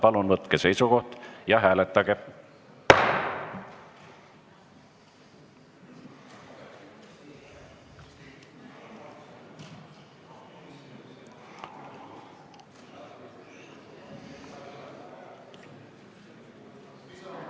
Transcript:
Palun võtke seisukoht ja hääletage!